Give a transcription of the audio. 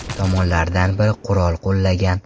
Tomonlardan biri qurol qo‘llagan.